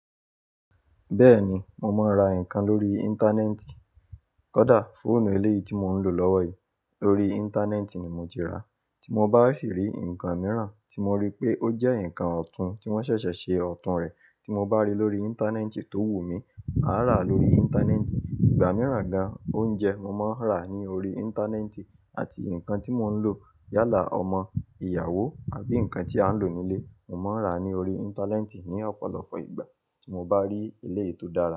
Bẹ́ẹ̀ni, mo máa ń ra nǹkan lórí Íńtánẹ́ẹ̀tì. Kódà fóònù eléyìí tí mò ń lò lọ́wọ́ yìí, lórí Íńtánẹ́ẹ̀tì ni mo ti rà á. Tí mo bá sì rí nǹkan mìíràn tí mo rí pé ó jẹ́ nǹkan ọ̀tún tí wọ́n ṣẹ̀ṣẹ̀ ṣe ọ̀tún rẹ̀ tí mo bá rí lórí Íńtánẹ́ẹ̀tì tó wù mí, màá rà á lórí Íńtánẹ́ẹ̀tì. Ìgbà mìíràn gan, oúnjẹ mo máa ń rà á ní orí Íńtánẹ́ẹ̀tì àti nǹkan tí mò ń lò yálà ọmọ, ìyàwó àbí nǹkan tí à ń lò nílé, mo máa ń rà á ní orí Íńtánẹ́ẹ̀tì ní ọ̀pọ̀lọpọ̀ ìgbà tí mo bá rí eléyi tó dára.